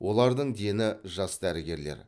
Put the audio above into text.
олардың дені жас дәрігерлер